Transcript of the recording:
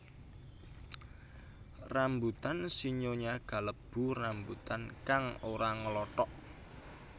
Rambutan sinyonya kalebu rambutan kang ora nglothok